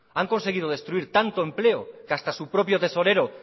han conseguido destruir tanto empleo que hasta su propio tesorero